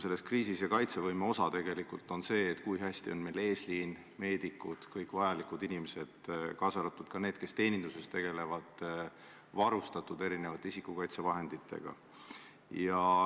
Selles kriisis on kaitsevõime osa tegelikult see, kui hästi on eesliin, meedikud, kõik vajalikud inimesed, kaasa arvatud need, kes teeninduses töötavad, varustatud isikukaitsevahenditega.